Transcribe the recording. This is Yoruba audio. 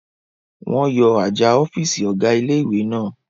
Wọ́n yọ àjà ọ̀fìsì ọ̀gá ilé-ìwé náà